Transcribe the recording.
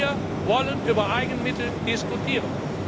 Wir wollen über Eigenmittel diskutieren.